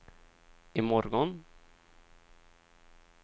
imorgon